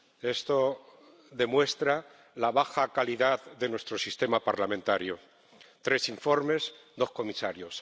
Esto demuestra la baja calidad de nuestro sistema parlamentario tres informes, dos comisarios.